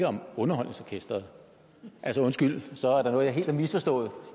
om underholdningsorkestret altså undskyld så er der noget jeg helt har misforstået